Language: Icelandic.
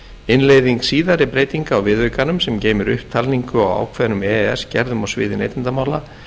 innleiðing síðari breytinga á viðaukanum sem geymir upptalningu á ákveðnum e e s gerðum á sviði neytendamála